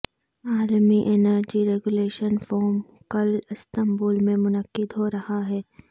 عالمی energy regulation forum کل Istanbul میں منعقد ہو رہا ہے